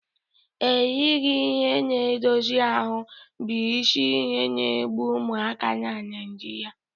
Erighị ihe na-edozi ahụ́ bụ isi ihe na-egbu ụmụaka na Naijiria